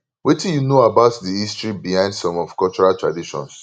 wetin you know about di history behind some of cultural traditions